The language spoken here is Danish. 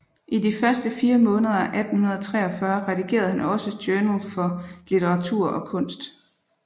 I de første 4 måneder af 1843 redigerede han også Journal for Litteratur og Kunst